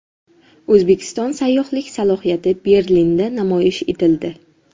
O‘zbekiston sayyohlik salohiyati Berlinda namoyish etildi.